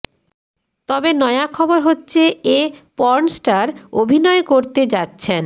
তবে নয়া খবর হচ্ছে এ পর্নস্টার অভিনয় করতে যাচ্ছেন